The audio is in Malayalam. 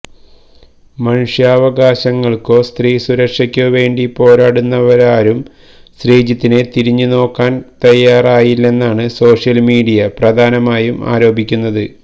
മനുഷ്യാവകാശങ്ങള്ക്കോ സ്ത്രീസുരക്ഷയ്ക്കോ വേണ്ടി പോരാടുന്നവരാരും ശ്രീജിത്തിനെ തിരിഞ്ഞുനോക്കാന് തയാറായില്ലെന്നാണ് സോഷ്യല്മീഡിയ പ്രധാനമായും ആരോപിക്കുന്നത്